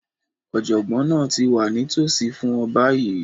Ọ̀jọ̀gbọ́n náà ti wà nítòsí fún ọ báyìí